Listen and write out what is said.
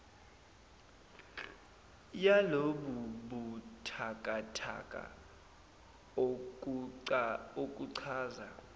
yalobu buthakathaka okuchaza